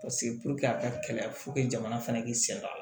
a ka kɛlɛ jamana fana k'i sɛgɛn